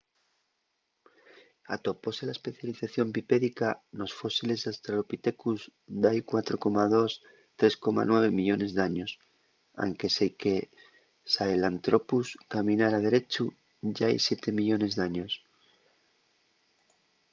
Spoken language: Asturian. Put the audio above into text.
atopóse la especialización bipédica nos fósiles d’australopithecus d’hai 4,2-3,9 millones d’años anque seique sahelantrhropus caminara derechu yá hai siete millones d’años